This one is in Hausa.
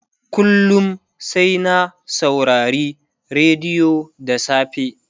kullum sai na saurari rediyo da safe